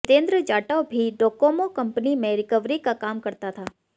जितेन्द्र जाटव भी Docomo company में recovery का काम करता था